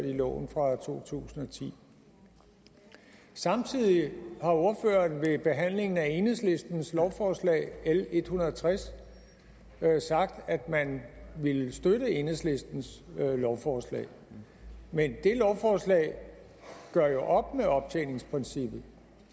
i loven fra to tusind og ti samtidig har ordføreren ved behandlingen af enhedslistens lovforslag l en hundrede og tres sagt at man ville støtte enhedslistens lovforslag men det lovforslag gør jo op med optjeningsprincippet